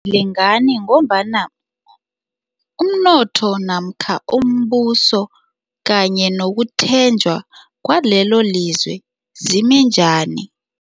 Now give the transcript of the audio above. Lingani ngombana umnotho namkha umbuso kanye nokutjhenjwa kwalelolizwe zime njani.